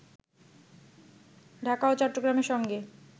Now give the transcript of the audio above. ঢাকা ও চট্টগ্রামের সঙ্গে